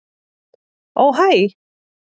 Ó hæ.